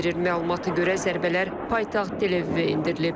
Məlumata görə zərbələr paytaxt Tel-Əvivə endirilib.